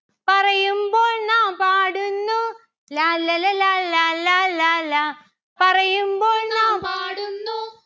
പറയുമ്പോൾ നാം പാടുന്നു. ലാല്ലല ലാലാ ലാലാ ലാ. പറയുമ്പോൾ നാം പാടുന്നു.